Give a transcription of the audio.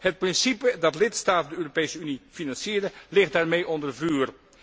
Het principe dat lidstaten de Europese Unie financieren, ligt daarmee onder vuur.